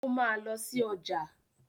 Ó máa lọ sí ọjà.